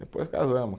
Depois casamos.